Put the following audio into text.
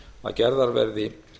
að gerðar verði